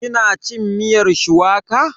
Ki na cin miyar shuwaka?